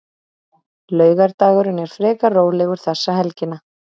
Laugardagurinn er frekar rólegur þessa helgina.